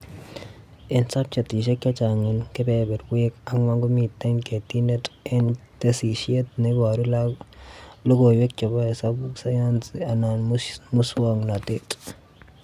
Eng subjetishek chechang eng kebeberwek ankwan, komite ketinet eng tesisyit, neiboru logoiwek chebo hesabuk, sayanis anan muswoknotet